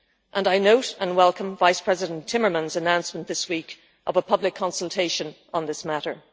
and I note and welcome First Vice-President Timmermans' announcement this week of a public consultation on this matter.